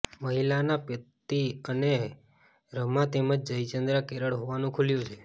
મહિલાનો પતિ અને રમા તેમજ જય ચન્દ્રા કેરળ હોવાનું ખુલ્યું છે